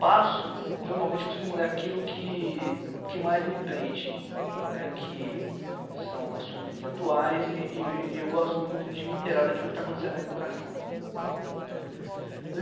Passo, normalmente costumo ler aquilo que que mais me prende, né, que são assuntos atuais e e e eu gosto muito de me inteirar daquilo que está acontecendo na educação.